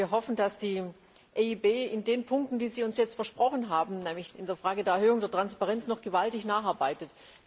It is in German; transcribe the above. Wir hoffen, dass die EIB in den Punkten, die Sie uns jetzt versprochen haben, nämlich in der Frage der Erhöhung der Transparenz, noch gewaltig nacharbeitet.